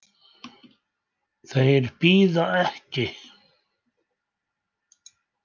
Þeir bíða ekki.